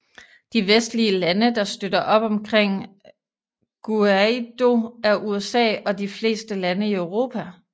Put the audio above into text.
De vestlige lande der støtter op omkring Guaidó er USA og de fleste lande i Europa